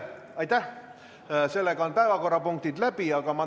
Aitäh, sellega on päevakorrapunktid läbi arutatud.